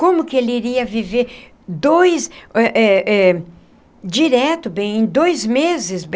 Como que ele iria viver dois eh eh eh direto bem em dois meses?